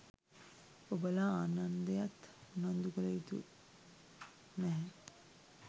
ඔබලා ආනන්දයන් උනන්දු කළයුතු නැහැ.